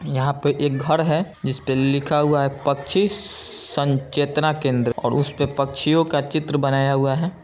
यहां पे एक घर है जिस पर लिखा हुआ है पच्चीस संचेतना केंद्र उस पर पक्षियों का चित्र बनाया हुआ है ।